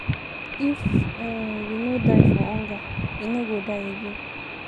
If um we no die for hunger, we no go die again.